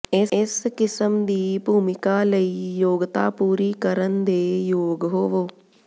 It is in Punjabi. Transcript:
ਇਸ ਕਿਸਮ ਦੀ ਭੂਮਿਕਾ ਲਈ ਯੋਗਤਾ ਪੂਰੀ ਕਰਨ ਦੇ ਯੋਗ ਹੋਵੋ